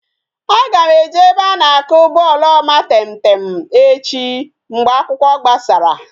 Aga m eje ebe a na-akụ bọọlụ omatemtem echi mgbe akwụkwọ gbasara